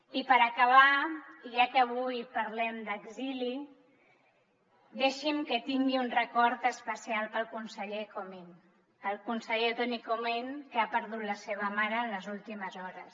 i per acabar i ja que avui parlem d’exili deixin me que tingui un record especial per al conseller comín per al conseller toni comín que ha perdut la seva mare en les últimes hores